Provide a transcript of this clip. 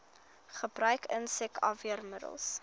gebruik insek afweermiddels